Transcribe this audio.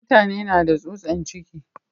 Mutane na da tsutsan ciki.